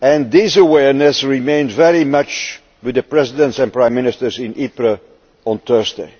This awareness remained very much with the Presidents and Prime Ministers in Ypres, on Thursday.